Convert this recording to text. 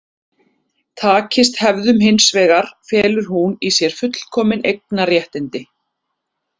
Takist hefðun hins vegar felur hún í sér fullkomin eignarréttindi.